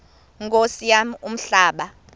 nkosi yam umhlaba